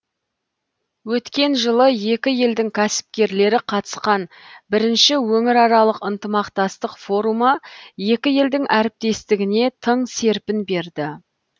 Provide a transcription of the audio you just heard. өткен жылы екі елдің кәсіпкерлері қатысқан бірінші өңіраралық ынтымақтастық форумы екі елдің әріптестігіне тың серпін берді